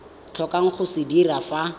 tlhokang go se dira fa